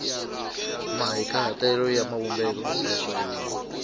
mahikahatelo na mavumbelo ya swivulwa